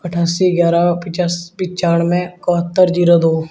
अट्ठासी ग्यारह पिचाश पंचानबे इकहत्तर जीरो दो।